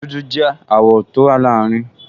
Dúdú jẹ́ àwọ̀ tó wà láàrin